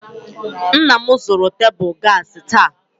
Nna m zụrụ tebụl gaasị taa.